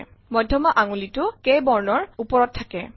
মধ্যমা আঙুলিটো K বৰ্ণৰ ওপৰত থাকে